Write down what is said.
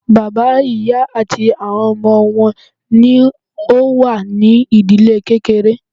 Bàbá, ìyá àti àwọn ọmọ wọn ní o wà ní ìdílé kékeré.